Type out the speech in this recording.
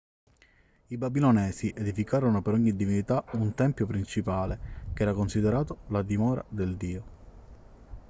i babilonesi edificarono per ogni divinità un tempio principale che era considerato la dimora del dio